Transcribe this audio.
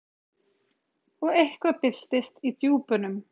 Og eitthvað byltist í djúpunum.